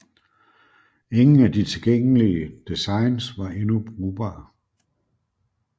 Ingen af de tilgængelige designs var endnu brugbare